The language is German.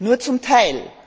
Nur zum Teil.